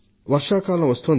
వర్షాకాలం వస్తోంది